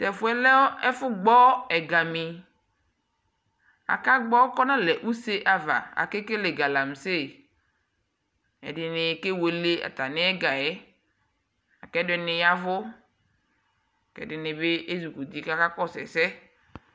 Tɛfuɛ lɛɛ ɛfu gbɔ ɛgamii akagbo kuu analɛɛ nu use ava Akekele galamse ɛdini kewele atamiɛgaɛ ɛdini yavu kɛdinibi eʒukuti kaka kɔsuu ɛsɛ